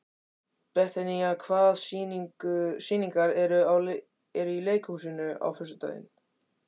Betanía, hvaða sýningar eru í leikhúsinu á föstudaginn?